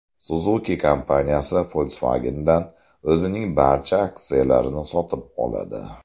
Suzuki kompaniyasi Volkswagen’dan o‘zining barcha aksiyalarini sotib oladi.